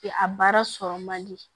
a baara sɔrɔ man di